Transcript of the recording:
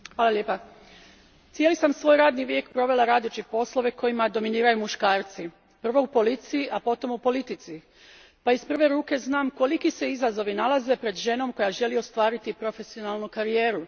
Gospođo predsjedateljice, cijeli sam svoj radni vijek provela radeći poslove kojima dominiraju muškarci, prvo u policiji, a potom u politici, pa iz prve ruke znam koliki se izazovi nalaze pred ženom koja želi ostvariti profesionalnu karijeru.